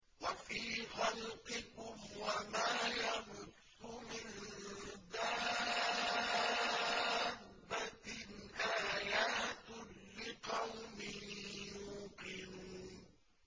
وَفِي خَلْقِكُمْ وَمَا يَبُثُّ مِن دَابَّةٍ آيَاتٌ لِّقَوْمٍ يُوقِنُونَ